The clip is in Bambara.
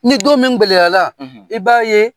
Ni don min gɛlɛyala i b'a ye